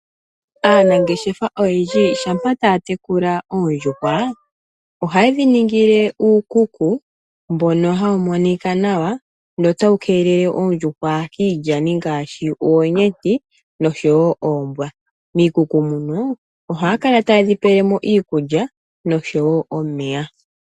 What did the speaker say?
Aanangeshefa oyendji shampa taya tekula oondjuhwa ohaye dhi ningile uukuku mbono hawu monika nawa notawu keelele oondjuhwa kiilyani ngaashi oonyeti noshowo oombwa. Miikuku muno ohaya kala taye dhi pele mo iikulya noshowo omeya.